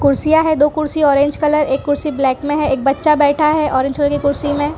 कुर्सियां है दो कुर्सियां ऑरेंज कलर एक कुर्सी ब्लैक में है एक बच्चा बैठा है ऑरेंज कलर की कुर्सी में।